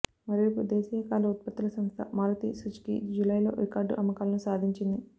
మరోవైపు దేశీయ కార్ల ఉత్పత్తుల సంస్థ మారుతి సుజుకీ జూలైలో రికార్డు అమ్మకాలను సాధించింది